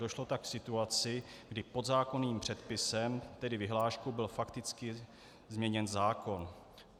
Došlo tak k situaci, kdy podzákonným předpisem, tedy vyhláškou, byl fakticky změněn zákon.